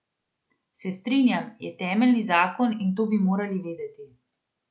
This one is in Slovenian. Se strinjam, je temeljni zakon in to bi moral vedeti.